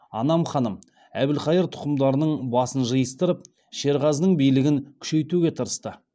анам ханым әбілқайыр тұқымдарының басын жиыстырып шерғазының билігін күшейтуге тырысты